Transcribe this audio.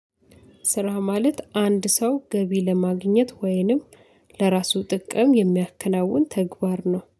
ስራ ማለት አንድ ሰው ገቢ ለማግኘት ወይንም ለራሱ ጥቅም የሚያከናውን ተግባር ነው